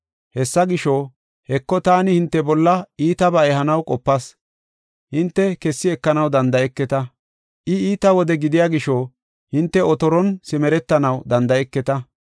Hessa gisho, “Heko, taani hinte bolla iitabaa ehanaw qopas; hinte kessi ekanaw danda7eketa. I iita wode gidiya gisho, hinte otoron simeretanaw danda7eketa.